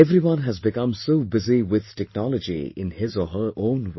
Everyone has become so busy with technology in his or her own way